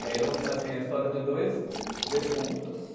E aí eram assim, a história de dois defuntos,